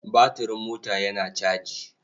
Batiring mota yana caji.